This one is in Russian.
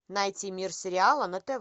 найти мир сериала на тв